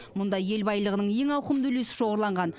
мұнда ел байлығының ең ауқымды үлесі шоғырланған